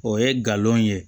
O ye galon ye